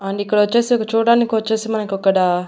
and ఇక్కడొచ్చేసి ఒక చూడ్డానికొచ్చేసి మనకక్కడ--